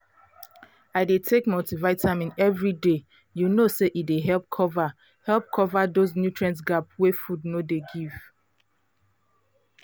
i dey take multivitamin every day you know say e dey help cover help cover those nutrient gap wey food no dey give